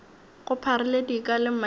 go pharile dika le maina